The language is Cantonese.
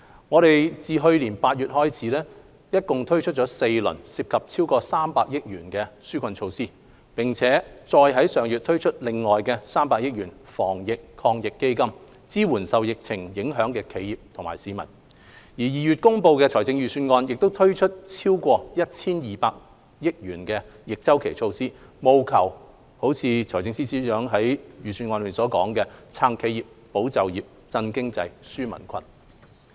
我們自去年8月開始共推出4輪涉及超過300億元的紓困措施，並再於上月另外推出300億元的防疫抗疫基金，支援受疫情影響的企業和市民 ；2 月公布的財政預算案亦推出超過 1,200 億元的逆周期措施，務求達致財政司司長在預算案中所說的"撐企業、保就業、振經濟、紓民困"。